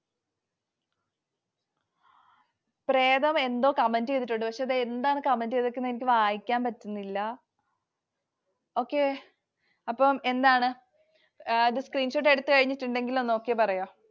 എന്തോ comment ചെയ്തിട്ടുണ്ട്. പക്ഷെ അതുഎന്താണു comment ചെയ്തിരിക്കുന്നതെന്ന് എനിക്ക് വായിക്കാൻ പറ്റുന്നില്ല. okay അപ്പൊ എന്താണ്. Screenshot എടുത്തു കഴിഞ്ഞിട്ടുണ്ടെങ്കിൽ ഒന്ന് Okay പറയുവോ?